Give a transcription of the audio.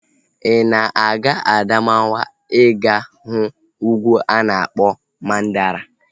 Ị na-aga Adamawa ị ga-ahụ ugwu a na-akpọ Mandara